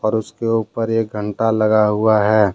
और उसके ऊपर एक घंटा लगा हुआ है।